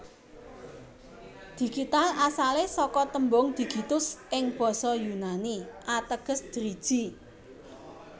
Digital asalé saka tembung Digitus ing basa Yunani ateges driji